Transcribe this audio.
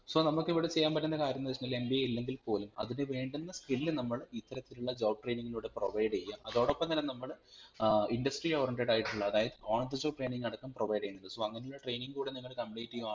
so നമ്മക് ഇവിടെ ചെയ്യാൻ പറ്റുന്ന കാര്യംന്ന് വെച്ചുകഴിനാ MBA ഇല്ലെങ്കിൽ പോലും അതിനു വേണ്ടുന്ന skill നമ്മൾ ഇതരത്തിലുള്ള job training ലൂടെ provide ചെയ്യാ അതോടൊപ്പം തന്നെ നമ്മൾ ഏർ industry oriented ആയിട്ടുള്ള അതായിത് on the job training അടക്കം provide ചെയ്യുന്നുണ്ട് so അങ്ങനെള്ള training കൂടിനിങ്ങൾ complete ചെയ്യാ